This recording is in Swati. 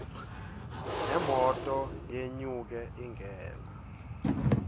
nemoto yenyuke ingene